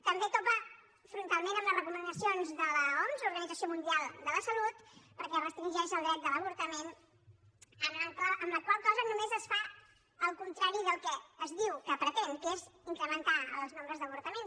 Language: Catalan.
també topa frontalment amb les recomanacions de l’oms l’organització mundial de la salut perquè restringeix el dret de l’avortament amb la qual cosa només es fa el contrari del que es diu que pretén que és incrementar el nombre d’avortaments